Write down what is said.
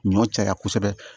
Ɲɔ caya kosɛbɛ